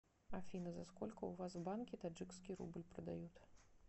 афина за сколько у вас в банке таджикский рубль продают